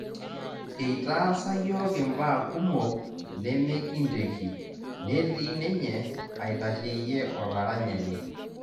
Eitaasa yiok imbaa kumok nemekinteki netii ninye aitasheyie olaranyani